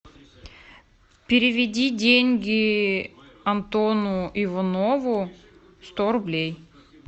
переведи деньги антону иванову сто рублей